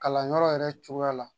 Kalanyɔrɔ yɛrɛ cogoya la